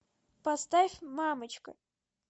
поставь мамочка